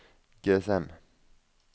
GSM